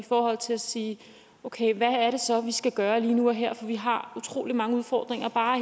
i forhold til at sige okay hvad er det så vi skal gøre lige nu og her for vi har utrolig mange udfordringer og bare